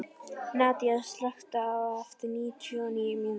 Nadia, slökktu á þessu eftir níutíu og níu mínútur.